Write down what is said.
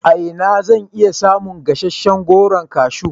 A ina zan iya samun gasasshen Goron kashu?